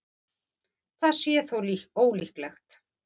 Það sé þó ólíklegt